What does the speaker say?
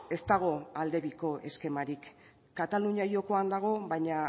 ez dago aldebiko eskemarik katalunian jokoan dago baina